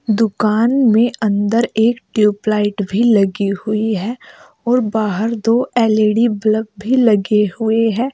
दुकान में अंदर एक ट्यूबलाइट भी लगी हुई है और बाहर दो एल_ई_डी बलब भी लगे हुए है।